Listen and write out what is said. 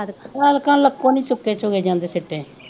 ਐਲਕਾ ਲਕੋ ਨੀ ਚੁਕੇ ਚੁਗੈ ਜਾਂਦੇ